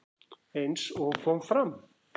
Eins og kom fram